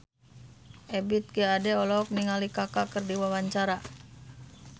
Ebith G. Ade olohok ningali Kaka keur diwawancara